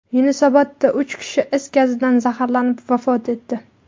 Yunusobodda uch kishi is gazidan zaharlanib vafot etdi.